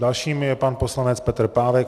Dalším je pan poslanec Petr Pávek.